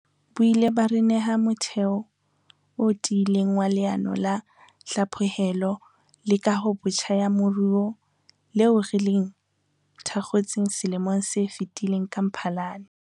Bo ile ba re neha motheo o tiileng wa Leano la Hlaphohelo le Kahobotjha ya Moruo leo re le thakgotseng selemong se fetileng ka Mphalane.